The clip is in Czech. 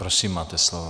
Prosím, máte slovo.